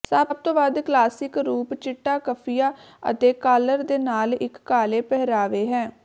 ਸਭ ਤੋਂ ਵੱਧ ਕਲਾਸਿਕ ਰੂਪ ਚਿੱਟਾ ਕਫ਼ੀਆਂ ਅਤੇ ਕਾਲਰ ਦੇ ਨਾਲ ਇੱਕ ਕਾਲੇ ਪਹਿਰਾਵੇ ਹੈ